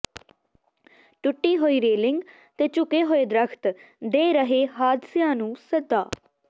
ਟੁੱਟੀ ਹੋਈ ਰੇਲਿੰਗ ਤੇ ਝੁਕੇ ਹੋਏ ਦਰੱਖ਼ਤ ਦੇ ਰਹੇ ਹਾਦਸਿਆਂ ਨੂੰ ਸੱਦਾ